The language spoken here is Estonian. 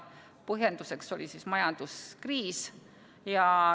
Põhjenduseks oli majanduskriis.